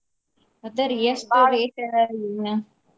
ಅದರಿ ಎಷ್ಟು rate ಏನ.